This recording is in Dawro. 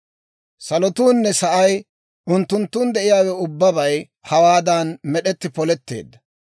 Salotuunne sa'ay unttunttun de'iyaawe ubbabay hawaadan med'etti poletteedda.